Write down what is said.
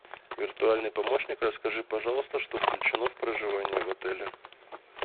виртуальный помощник расскажи пожалуйста что включено в проживание в отеле